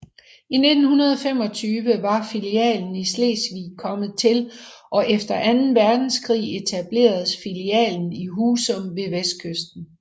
I 1925 var filialen i Slesvig kommet til og efter anden verdenskrig etableredes filialen i Husum ved vestkysten